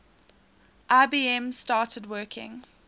ibm started working